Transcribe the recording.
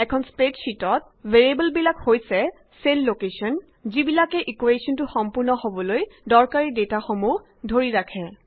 এখন স্প্ৰেডশ্যিটত ভেৰিয়েবল বিলাক হৈছে চেল লোকেশ্যন যিবিলাকে ইকুৱেশ্যনটো সম্পূৰ্ণ হবলৈ দৰকাৰী ডেটা সমূহ ধৰি ৰাখে